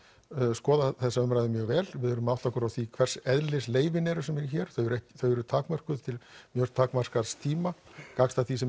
skoða þessa umræðu mjög vel við þurfum að átta okkur á því hvers eðlis leyfin eru sem eru hér þau eru þau eru takmörkuð til mjög takmarkaðs tíma gagnstætt því sem